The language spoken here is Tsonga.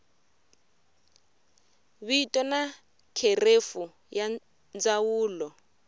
vito na kherefu ya ndzawulo